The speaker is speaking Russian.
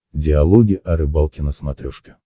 диалоги о рыбалке на смотрешке